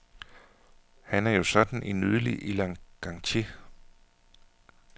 Han er jo sådan en nydelig elegantier.